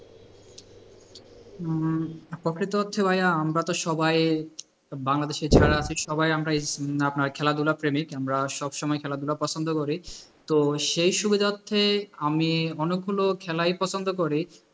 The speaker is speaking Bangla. প্রকৃত হচ্ছে ভাই আমরা তো সবাই বাংলাদেশি ছাড়া বাকি সবাই আমরা আপনার খেলাধুলা প্রেমিক। আমরা সবসময়ই খেলাধুলা পছন্দ করি তো সেই সুবিধার্থে আমি অনেকগুলো খেলাই পছন্দ করি।